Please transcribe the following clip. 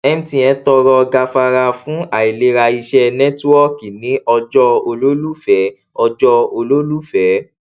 mtn tọrọ gafara fún àìlera iṣẹ nẹtíwọọkì ní ọjọ olólùfẹ ọjọ olólùfẹ